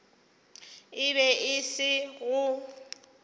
e be e se go